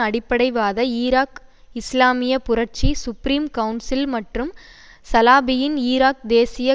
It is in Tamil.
அடிப்படைவாத ஈராக் இஸ்லாமிய புரட்சி சுப்ரீம் கவுன்சில் மற்றும் சலாபியின் ஈராக் தேசிய